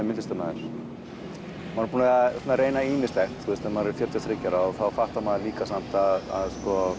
myndlistarmaður maður er búinn að reyna ýmislegt þegar maður er fjörutíu og þriggja ára þá fattar maður líka samt að